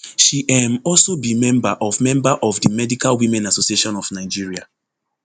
she um also be member of member of di medical women association of nigeria